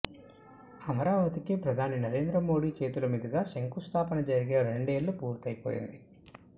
అమరావతికి ప్రధాని నరేంద్రమోడీ చేతుల మీదుగా శంకుస్థాపన జరిగే రెండేళ్ళు పూర్తయిపోయింది